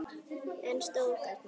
En stóð þarna.